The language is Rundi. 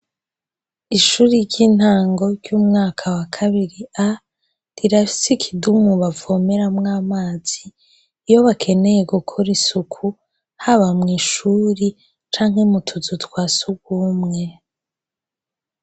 Ishuri ry'intango ry'umwaka wa kabiri A rirafise ikidumu bavomeramwo amazi, iyo bakeneye gukora isuku haba mw'ishuri canke mu tuzu twa sugumwe.